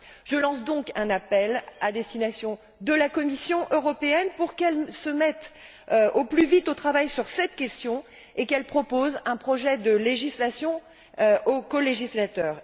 Je lance donc un appel à destination de la Commission européenne pour qu'elle se mette au plus vite au travail sur cette question et qu'elle propose un projet de législation aux colégislateurs.